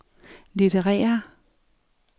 litterære